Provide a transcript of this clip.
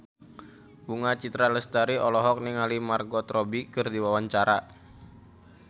Bunga Citra Lestari olohok ningali Margot Robbie keur diwawancara